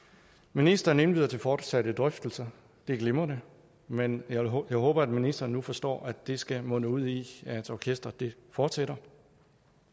ministeren indbyder til fortsatte drøftelser det er glimrende men jeg håber at ministeren nu forstår at det skal munde ud i at orkestret fortsætter